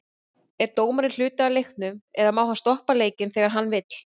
Er dómarinn hluti af leiknum eða má hann stoppa leikinn þegar hann vill?